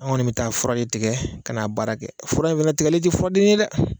An kɔni bɛ taa fura de tigɛ ka na baara kɛ fura in fana tigɛli tɛ furaden ye dɛ